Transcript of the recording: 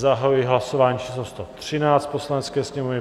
Zahajuji hlasování číslo 113 Poslanecké sněmovny.